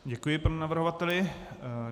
Děkuji panu navrhovateli.